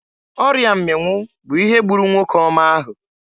Ọrịa mmịnwụ bụ ihe gburu nwoke ọma ahụ.